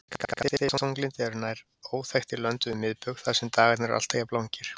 Skammdegisþunglyndi er nær óþekkt í löndum við miðbaug þar sem dagarnir eru alltaf jafn langir.